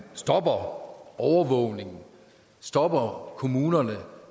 stopper overvågningen stopper kommunerne